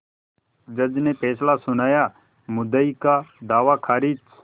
जज ने फैसला सुनायामुद्दई का दावा खारिज